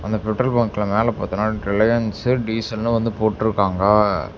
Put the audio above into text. இந்த பெட்ரோல் பங்க்ல மேல பாத்தோனா ரிலயன்ஸு டீசல்னு வந்து போட்ருக்காங்க.